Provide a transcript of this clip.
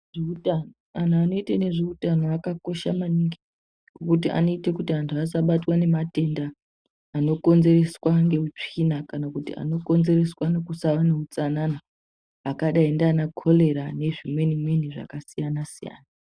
Vantu vanoita nezveutano zvakakosha maningi vanoita kuti vantu vasabatwe nematenda anokonzereswa netsvina kana kuti anokonzereswa nekusava neutsanana akadai nana korera nezvimweni zvimweni zvakasiyana siyana.